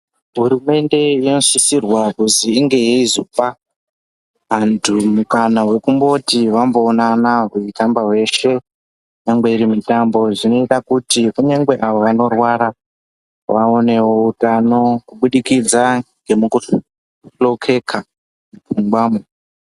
Hurumende yakasisirwa kuzi inge yeizopa antu mukana wekumboti vamboonana veitamba veshe, nyangwe irimutambo zvinoita kuti nyangwe avo vanorwara vaonewo utano kubudikidza ngemukuhlokeka mupfungwamo.